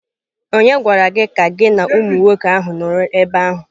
Ònye gwara gị ka gị na umụ nwoke ahụ nọrọ n'ebe ahụ?